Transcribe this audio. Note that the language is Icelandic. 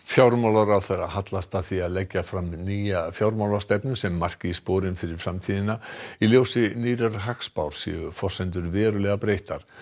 fjármálaráðherra hallast að því að leggja fram nýja fjármálastefnu sem marki sporin fyrir framtíðina í ljósi nýrrar hagspár séu forsendur verulega breyttar